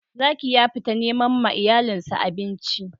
Zaki ya fita neman ma iyalin sa abinci.